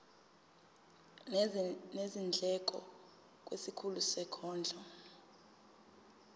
nezindleko kwisikhulu sezondlo